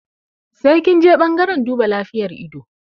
Sai kinje ɓangaren duba lafiyar ido